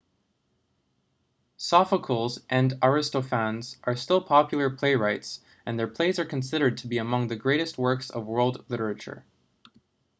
sophocles and aristophanes are still popular playwrights and their plays are considered to be among the greatest works of world literature